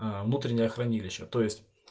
аа внутреннее хранилище то есть